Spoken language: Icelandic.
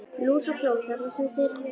Lús og fló, það er það sem þeir þurfa.